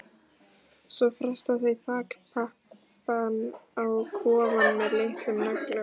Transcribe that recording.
Svo festa þau þakpappann á kofann með litlum nöglum.